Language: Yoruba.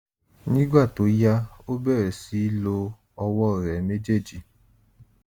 nígbà tó yá ó bẹ̀rẹ̀ sí í lo ọwọ́ rẹ̀ méjèèjì